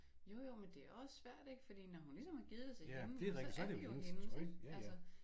Jo jo men det også svært ikke fordi når hun ligesom har givet det til hende jamen så er det jo hendes ikke